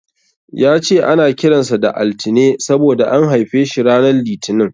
Ya ce ana kiran sa da Altine saboda an haife shi ranar Litinin.